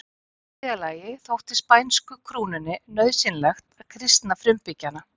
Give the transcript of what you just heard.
Í þriðja lagi þótti spænsku krúnunni nauðsynlegt að kristna frumbyggjana.